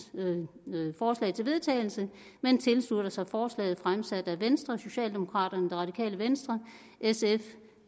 forslag til vedtagelse men tilslutter sig forslaget fremsat af venstre socialdemokraterne det radikale venstre sf